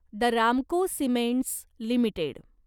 the Ramco cements limited